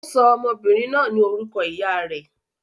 Ó sọ ọmọbìnrin náà ní orúkọ ìyá rẹ̀.